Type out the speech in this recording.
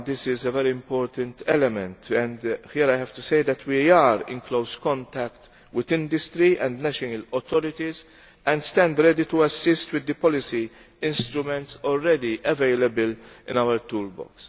This is a very important element and here I have to say that we are in close contact with industry and national authorities and stand ready to assist with the policy instruments already available in our toolbox.